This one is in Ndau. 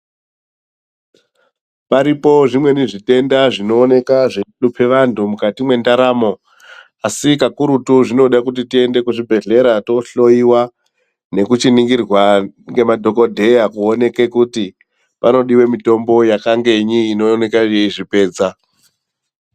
Paripo zvimweni zvitenda zvinooneka zveihlupe vantu mukati mwendaramo. Asi kakurutu zvinode kuti tiende kuzvibhehlera toohloyiwa nekuchiningirwa ngemadhokodheya kuoneke kuti panodiwe mitombo yakangenyi inooneka yeizvipedza.